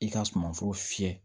I ka sumanforo fiyɛ